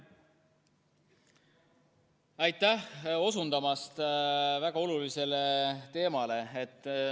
Aitäh osundamast väga olulisele teemale!